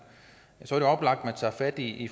tager fat i